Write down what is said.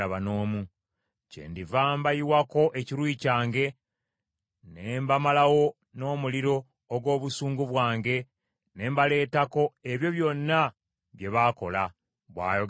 Kyendiva mbayiwako ekiruyi kyange, ne mbamalawo n’omuliro ogw’obusungu bwange, ne mbaleetako ebyo byonna bye baakola,” bw’ayogera Mukama Katonda.